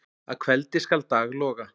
Að kveldi skal dag lofa.